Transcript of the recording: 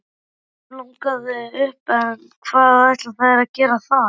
Stelpunum langar upp en hvað ætla þær að gera þar?